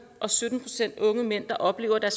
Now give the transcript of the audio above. og sytten procent af de unge mænd der oplever at